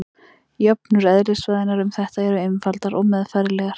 Jöfnur eðlisfræðinnar um þetta eru einfaldar og meðfærilegar.